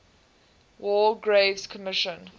war graves commission